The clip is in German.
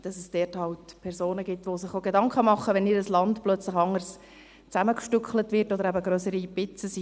Es gibt halt Personen, die sich Gedanken machen, wenn ihr Land plötzlich anders zusammengestückelt wird oder aus grösseren Stücken besteht.